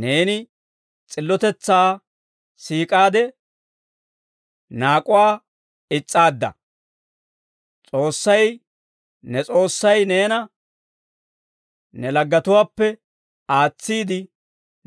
Neeni s'illotetsaa siik'aade; naak'uwaa is's'aadda. S'oossay, ne S'oossay neena, ne laggetuwaappe aatsiide,